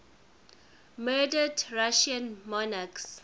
murdered russian monarchs